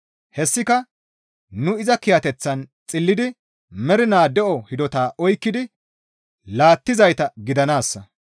Hessika nu iza kiyateththan xillidi mernaa de7o hidota oykkidi laattizayta gidanaassa.